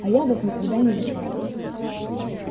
а я вот никогда не летал